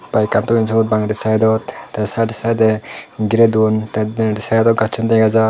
bike an thoyun sut bangedi side ot the side a side a gire dun the denedi side ot gachun dega jar.